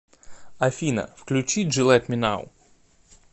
афина включи джи лет ми нау